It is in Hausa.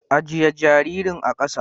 Ajye jaririn a kasa!